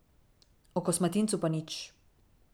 O kosmatincu pa nič ...